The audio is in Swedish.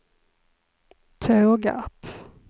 Tågarp